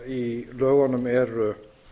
í lögunum eru